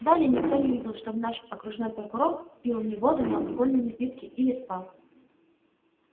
далее никто не видел чтобы наш окружной прокурор пил ни воду ни алкогольные напитки или спал